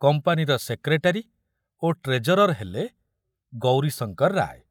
କମ୍ପାନୀର ସେକ୍ରେଟାରୀ ଓ ଟ୍ରେଜରର ହେଲେ ଗୌରୀଶଙ୍କର ରାୟ।